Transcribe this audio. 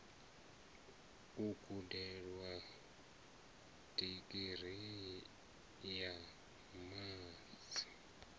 u gudela digirii ya masi